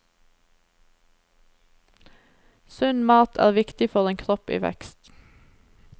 Sunn mat er viktig for en kropp i vekst.